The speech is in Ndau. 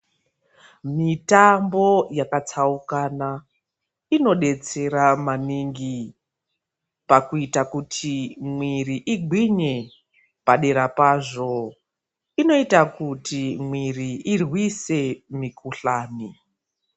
Mitambo yakatsaukana inodetsera maningi pakuita kuti mwiri igwinye padera pazvo inoita kuti mwiri irwise mikhuhlane